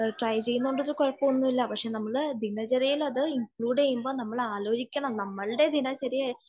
Try ചെയ്യുന്നുണ്ട് ഒരു കുഴപ്പവും ഇല്ല . നമ്മളെ ദിനചര്യയിൽ അത് ഇണകളുടെ ചെയ്യുമ്പോൾ നമ്മൾ അത് ആലോചിക്കണം നമ്മളുടെ ദിനചര്യയിൽ